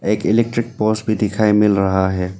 एक electric poles भी दिखाई मिल रहा है।